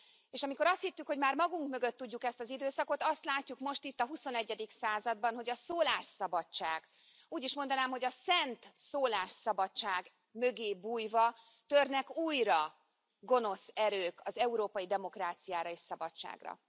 És amikor azt hittük, hogy már magunk mögött tudjuk ezt az időszakot, azt látjuk, most itt a huszonegyedik században, hogy a szólásszabadság, úgy is mondanám, hogy a szent szólásszabadság mögé bújva törnek újra gonosz erők az európai demokráciára és szabadságra.